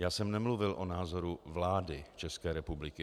Já jsem nemluvil o názoru vlády České republiky.